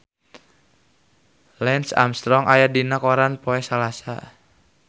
Lance Armstrong aya dina koran poe Salasa